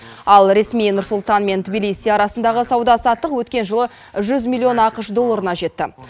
ал ресми нұр сұлтан мен тбилиси арасындағы сауда саттық өткен жылы жүз миллион ақш долларына жетті